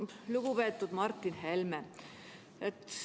Lugupeetud Martin Helme!